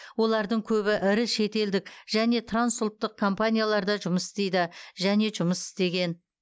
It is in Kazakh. олардың көбі ірі шетелдік және трансұлттық компанияларда жұмыс істейді және жұмыс істеген